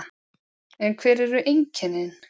En hver eru einkennin?